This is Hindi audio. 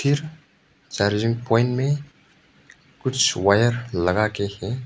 चार्जिंग पॉइंट में कुछ वायर लगाके हैं।